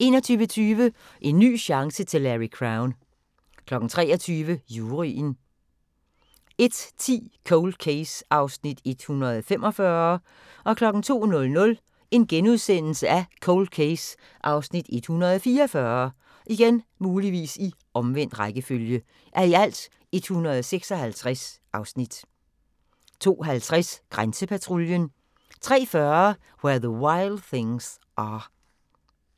21:20: En ny chance til Larry Crowne 23:00: Juryen 01:10: Cold Case (145:156) 02:00: Cold Case (144:156)* 02:50: Grænsepatruljen 03:40: Where the Wild Things Are